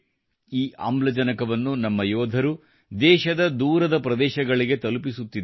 ಈ ಆಮ್ಲಜನಕವನ್ನು ನಮ್ಮ ಯೋಧರು ದೇಶದ ದೂರದ ಪ್ರದೇಶಗಳಿಗೆ ತಲುಪಿಸುತ್ತಿದ್ದಾರೆ